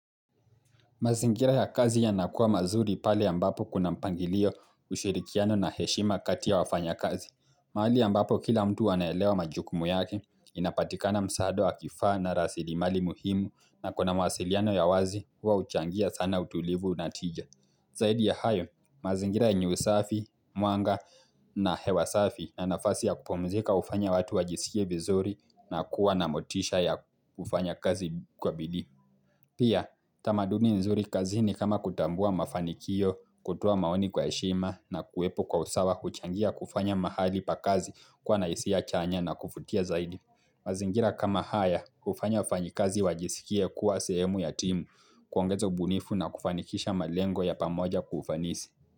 Mazingira ya kazi yanakuwa mazuri pale ambapo kuna mpangilio ushirikiano na heshima kati ya wafanyakazi. Mahali ambapo kila mtu anaelewa majukumu yake, inapatikana msaada wa kifaa na rasilimali muhimu na kuna mawasiliano ya wazi, huwa huchangia sana utulivu una tija. Zaidi ya hayo, mazingira yenye usafi, mwanga na hewa safi na nafasi ya kupumzika hufanya watu wajisikie vizuri na kuwa na motisha ya kufanya kazi kwa bidii. Pia, tamaduni nzuri kazini kama kutambua mafanikio, kutoa maoni kwa heshima na kuwepo kwa usawa huchangia kufanya mahali pa kazi kuwa na hisia chanya na kuvutia zaidi. Mazingira kama haya hufanya wafanyikazi wajisikie kuwa sehemu ya timu kuongeza ubunifu na kufanikisha malengo ya pamoja kwa ufanisi.